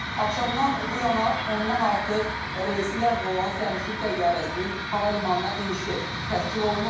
Axşamdan bu yana ondan artıq reysi ləğv olunan sərnişin təyyarəsinin hava limanına enişi təşkil olunub.